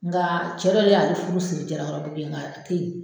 Nga cɛ dɔ de y'a le furu siri Jalakɔrɔbugu yen nga a tɛ yen.